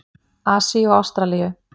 Asíu og Ástralíu.